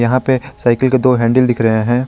यहां पे साइकिल के दो हैंडल दिख रहे हैं।